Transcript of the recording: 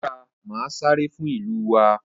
ó dáa màá sáré fún ìlú wa.